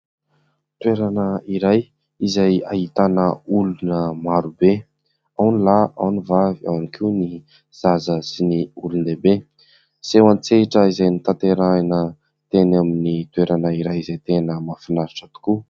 Toerana iray izay ahitana olona maro be. Ao ny lahy, ao ny vavy, ao ihany koa ny zaza sy ny olon-dehibe. Seho an-tsehatra izay notanterahina teny amin'ny toerana iray izay tena mahafinaritra tokoa.